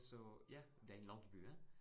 Så ja, det en landsby æh